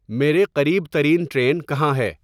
میرے قریب ترین ٹرین کہاں ہے